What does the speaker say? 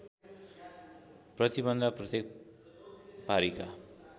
प्रतिबन्ध प्रत्येक पारीका